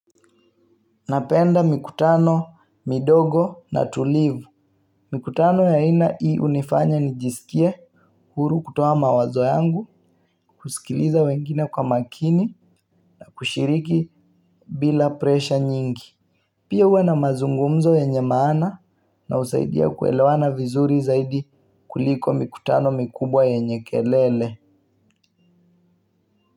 Napenda mikutano, midogo na tulivu. Mikutano ya aina hii unifanya nijisikie huru kutoa mawazo yangu, kusikiliza wengine kwa makini na kushiriki bila presha nyingi. Pia huwa na mazungumzo yenye maana na husaidia kuelewana vizuri zaidi kuliko mikutano mikubwa yenye kelele.